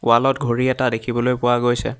Wall ত ঘড়ী এটা দেখিবলৈ পোৱা গৈছে।